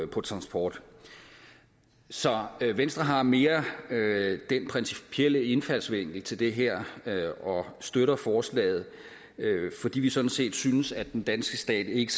på transport så venstre har en mere principiel indfaldsvinkel til det her og støtter forslaget fordi vi sådan set synes at den danske stat ikke